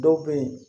Dɔw bɛ yen